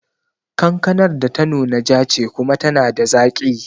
Kankanar da ta nuna ja ce kuma tana da zaki